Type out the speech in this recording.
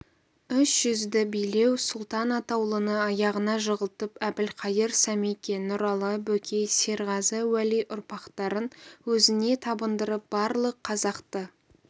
үш жүзді билеу сұлтан атаулыны аяғыңа жығылтып әбілқайыр сәмеке нұралы бөкей серғазы уәли ұрпақтарын өзіңе табындырып барлық қазақты